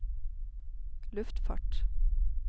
luftfart